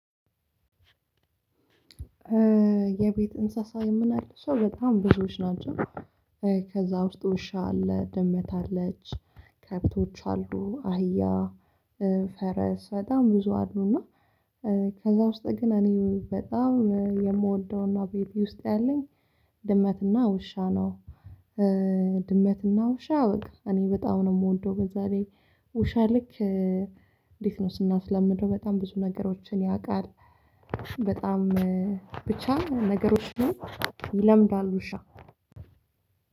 የቤት እንስሳ የምናለው ሰው በጣም ብዙዎች ናቸው። ከዛ ውስጥ ውሻ አለ ድመት አለች ከብቶች አሉ አህያ ፈረስ በጣም ብዙ አሉና። ከዛ ውስጥ ግን እኔ በጣም የምወደውና ቤቴ ውስጥ ያለኝ ድመትና ውሻ ነው። ድመትና ውሻ እኔ በጣም ነው የምወደው በዛ ብዬ ውሻ ልክ እንዴት? ነው ስናስለምደው በጣም ብዙ ነገሮችን ያውቃል። በጣም ብቻ ነገሮችን ይለምዳሉ ውሻ